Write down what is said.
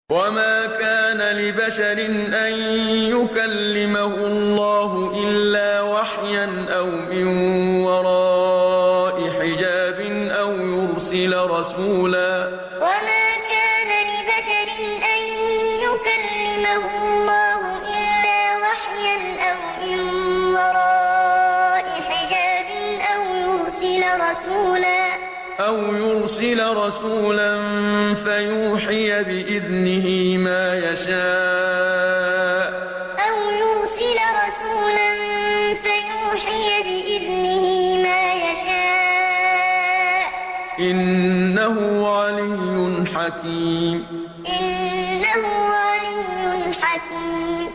۞ وَمَا كَانَ لِبَشَرٍ أَن يُكَلِّمَهُ اللَّهُ إِلَّا وَحْيًا أَوْ مِن وَرَاءِ حِجَابٍ أَوْ يُرْسِلَ رَسُولًا فَيُوحِيَ بِإِذْنِهِ مَا يَشَاءُ ۚ إِنَّهُ عَلِيٌّ حَكِيمٌ ۞ وَمَا كَانَ لِبَشَرٍ أَن يُكَلِّمَهُ اللَّهُ إِلَّا وَحْيًا أَوْ مِن وَرَاءِ حِجَابٍ أَوْ يُرْسِلَ رَسُولًا فَيُوحِيَ بِإِذْنِهِ مَا يَشَاءُ ۚ إِنَّهُ عَلِيٌّ حَكِيمٌ